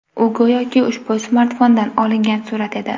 U, go‘yoki ushbu smartfondan olingan surat edi.